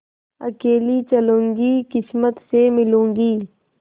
अकेली चलूँगी किस्मत से मिलूँगी